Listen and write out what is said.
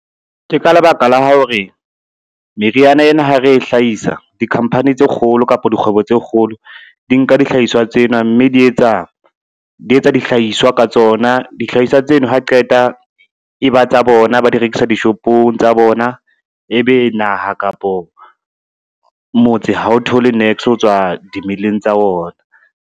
Ke ka lebaka la hore, meriana ena ha re e hlahisa, di-company tse kgolo kapa dikgwebo tse kgolo di nka dihlahiswa tsena, mme di etsa dihlahiswa ka tsona. Dihlahiswa tseno ha qeta e ba tsa bona, ba di rekisa dishopong tsa bona, e be naha kapo motse ha o thole niks ho tswa dimeleng tsa ona.